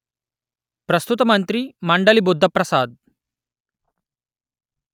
ప్రస్తుత మంత్రి మండలి బుద్ధ ప్రసాద్